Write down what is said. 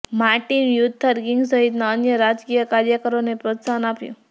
Martin Luther King સહિતના અન્ય રાજકીય કાર્યકરોને પ્રોત્સાહન આપ્યું